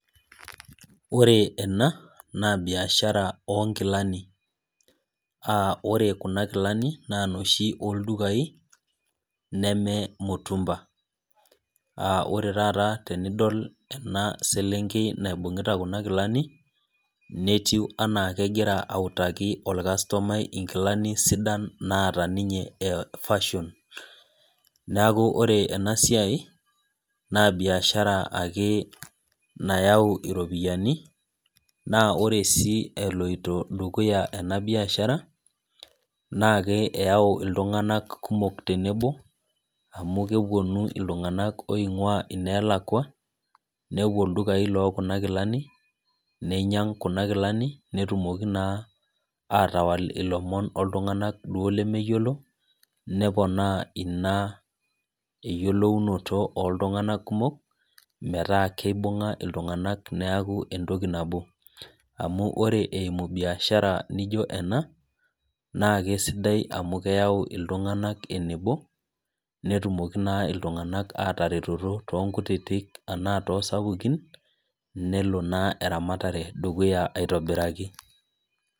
Ore ena, na biashara onkilani. Ore kuna kilani, na noshi oldukai, neme mutumba. Ore taata tenidol ena selenkei naibung'ita kuna kilani, netiu enaa kegira autaki orkastomai inkilani sidan naata ninye fashion. Neeku ore enasiai, na biashara ake nayau iropiyiani, na ore si eloito dukuya ena biashara, naake eyau iltung'anak kumok tenebo, amu keponu iltung'anak oing'ua ineelakua, nepuo ildukai lokuna kilani, ninyang' kuna kilani, netumoki naa atawal ilomon oltung'anak duo lemeyiolo, neponaa ina eyiolounoto oltung'anak kumok, metaa kibung'a iltung'anak neeku entoki nabo. Amu ore eimu biashara nijo ena, naa kesidai amu keyau iltung'anak enebo, netumoki naa iltung'anak ataretoto tonkutitik anaa tosapukin, nelo naa eramatare dukuya aitobiraki.